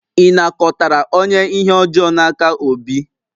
Ị nakọtara onye ihe ọjọọ n'aka Obi?